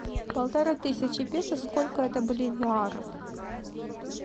полторы тысячи песо сколько это боливиаров